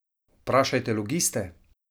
Vprašajte logiste!